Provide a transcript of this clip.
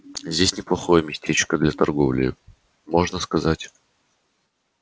здесь неплохое местечко для торговли можно сказать